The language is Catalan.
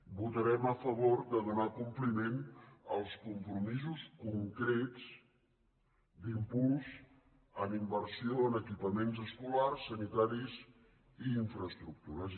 votarem a favor de donar compliment als compromisos concrets d’impuls en inversió en equipaments escolars sanitaris i infraestructures